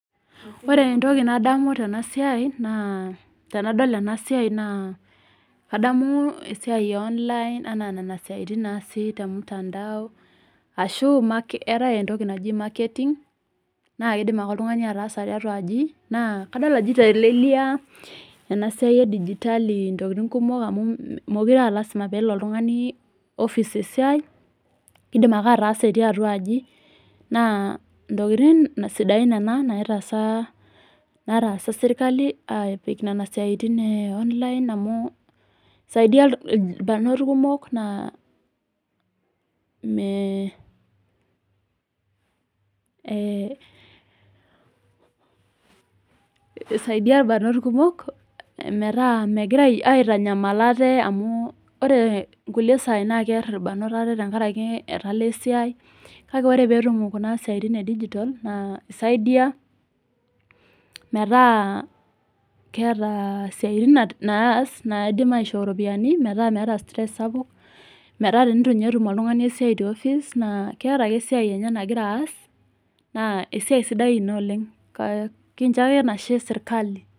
Ore entoki nadamu tena siai, naa tenadol ena siai naa adamu esiai e online anaa nena tokitin tokitin naasi te mutandao, arashu eatai entoki naji mareketing, nzake eidim ake oltung'ani ataasa tiatua aji. Naa kadol ajo keitelelia ena siai e digitali intokitin amu mekure aa lazima pee elo oltung'ani ofis esiai, eidim ake ataasa etii atua aji, naa intokitin sidain nena naitaasa serkali, epik nena tokitin e online amu eisaidia ilbarnot kumok naa, megira aitanyamal aate amu ore inkulie saai naa kear ilbarnot aate enkaraki etala esiai kake ore ake pee etum kuna siaitin e digitol naa eisaidia mataa keata isiatin naas metaa meidim aishoo iropiani metaa meata stress sapuk, metaa teneitu ninye etum oltung'ani esiai te ofis naa keata ake esiai enye nagira ake aas, naa esiai sidai naa kincho ake enashe serkali.